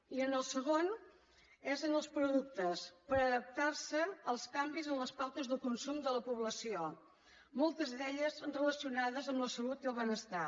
i el segon és en els productes per adaptar se als canvis en les pautes de consum de la població moltes d’elles relacionades amb la salut i el benestar